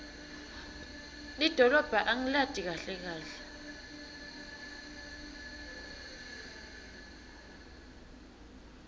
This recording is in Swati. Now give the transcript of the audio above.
lidolobha angilati kahle kahle